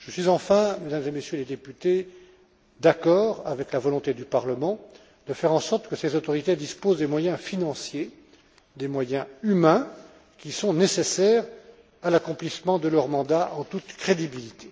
Enfin, Mesdames et Messieurs les députés, je suis d'accord avec la volonté du Parlement de faire en sorte que ces autorités disposent des moyens financiers, des moyens humains qui sont nécessaires à l'accomplissement de leur mandat en toute crédibilité.